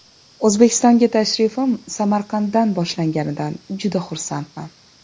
O‘zbekistonga tashrifim Samarqanddan boshlanganidan juda xursandman.